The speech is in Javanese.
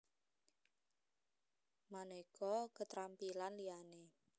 Manéka keterampilan liyané